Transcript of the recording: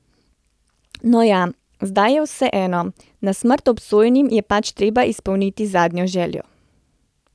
No ja, zdaj je vseeno, na smrt obsojenim je pač treba izpolnit zadnjo željo.